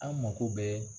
An mako bɛ